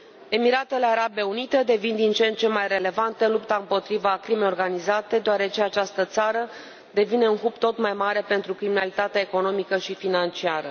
Emiratele Arabe Unite devin din ce în ce mai relevante în lupta împotriva crimei organizate, deoarece această țară devine un hub tot mai mare pentru criminalitatea economică și financiară.